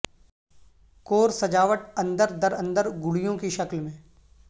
کور سجاوٹ اندر در اندر گڑیوں کی شکل میں